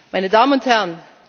meine Damen und